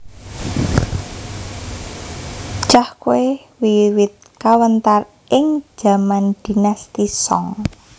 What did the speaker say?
Cahkwe wiwit kawentar ing jaman Dinasti Song